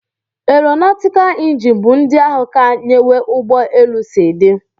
Aeronautical injinia bu ndi ahu ka nyewe ugbọ elu si di